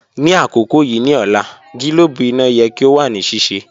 Ni akoko yii ni ọla, gilobu ina yẹ ki o wa ni sise.